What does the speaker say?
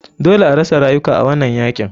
Dole arasa rayuka a wanan yakin.